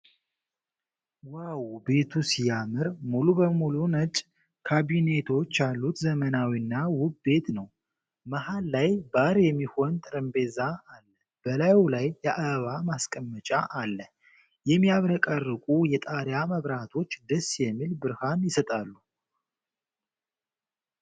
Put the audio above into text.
ዋው! ቤቱ ሲያምር! ሙሉ በሙሉ ነጭ ካቢኔቶች ያሉት ዘመናዊና ውብ ቤት ነው። መሀል ላይ ባር የሚሆን ጠረጴዛ አለ። በላዩ ላይ የአበባ ማስቀመጫ አለ። የሚያብረቀርቁ የጣሪያ መብራቶች ደስ የሚል ብርሃን ይሰጣሉ!!።